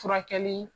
Furakɛli